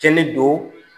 Kɛli don